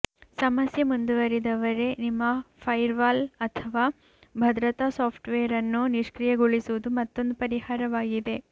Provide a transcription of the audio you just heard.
ಸಮಸ್ಯೆ ಮುಂದುವರಿದರೆ ನಿಮ್ಮ ಫೈರ್ವಾಲ್ ಅಥವಾ ಭದ್ರತಾ ಸಾಫ್ಟ್ವೇರ್ ಅನ್ನು ನಿಷ್ಕ್ರಿಯಗೊಳಿಸುವುದು ಮತ್ತೊಂದು ಪರಿಹಾರವಾಗಿದೆ